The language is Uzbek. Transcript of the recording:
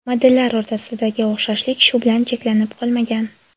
Modellar o‘rtasidagi o‘xshashlik shu bilan cheklanib qolmagan.